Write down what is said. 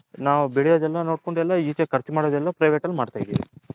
ನಾವು ಬೆಲ್ಲ್ಯೋದ್ ಎಲ್ಲಾ ನೋಡ್ಕೊಂಡ್ ಎಲ್ಲ ಕರ್ಚು ಮಾಡದ್ ಎಲ್ಲಾ ಇಚೆ private ಅಲ್ಲಿ ಮಾಡ್ತಿದಿವಿ.